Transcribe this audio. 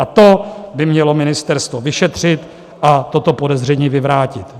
A to by mělo ministerstvo vyšetřit a toto podezření vyvrátit.